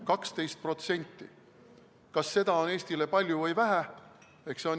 12% – kas seda on Eestile palju või vähe?